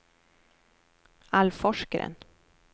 Alf Forsgren